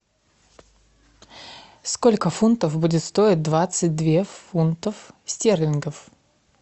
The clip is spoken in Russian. сколько фунтов будет стоить двадцать две фунтов стерлингов